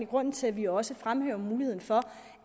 grunden til at vi også fremhæver muligheden for